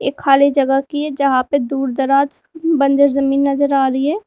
एक खाली जगह की है जहां पे दूर दराज बंजर जमीन नजर आ रही है।